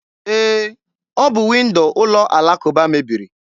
E, ọ bụ windo ụlọ alakụba mebiri.